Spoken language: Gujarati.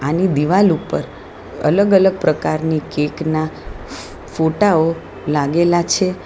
આની દિવાલ ઉપર અલગ અલગ પ્રકારની કેક ના ફોટા ઓ લાગેલા છે.